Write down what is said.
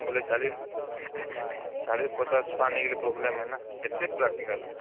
ବେଲେ caughing ୪୦ ୫୦ ଛୁଆ ନେଇଗଲେ problem ନାହିଁ ନା କେତେ practical